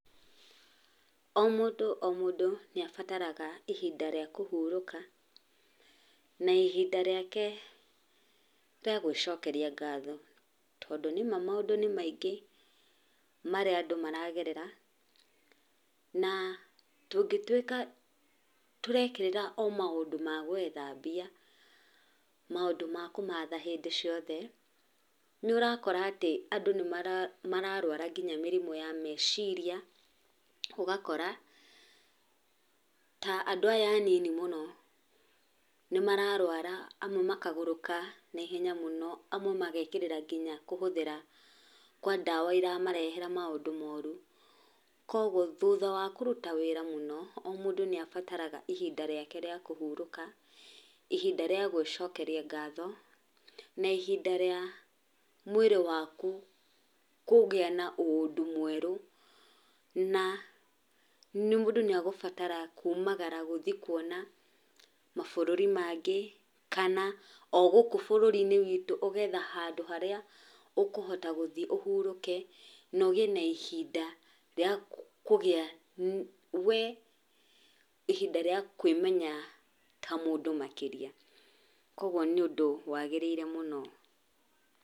O mũndũ o mũndũ nĩabataraga ihinda rĩa kũhurũka, na ihinda rĩake, rĩavgwĩcokeria ngatho, tondũ nĩma maũndũ maingĩ, marĩa andũ maragerera, na tũngĩtwĩka, tũrekĩrĩra o maũndũ ma gwetha mbia, maũndũ ma kũmatha hĩndĩ ciothe. Nĩũrakora atĩ andũ nĩmarwarwa nginya mĩrimũ ya meciria, ũgakora, ta andũ aya anini mũno, nĩmararwara naihenya mũno, amwe nginya mekerĩire kũhũthĩra ndawa iramarehera maũndũ moru. Koguo thutha wa kũruta wĩra mũno,o mũndũ nĩabataraga ihinda rĩake rĩa kũhurũka, ihinda rĩa gwĩcokeria ngatho, na ihinda rĩa mwĩrĩ waku, kũgĩa ũndũ mwerũ, na mũndũ nĩagũbatara kumagara gũthiĩ kuona, mabũrũri mangĩ, kana ogũkũ bũrũri gwitũ handũ harĩa ũhurũke. Naũgĩe na Ihinda, rĩa kũgĩa, wee ihinda rĩa kwĩmenya, ta mũndũ makĩria, koguo nĩ ũndũ wagĩrĩire mũno.